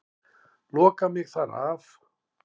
Loka mig þar af.